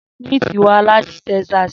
Smith wa lati Texas